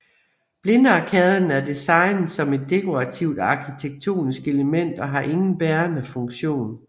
Blindarkaden er designet som et dekorativt arkitektonisk element og har ingen bærende funktion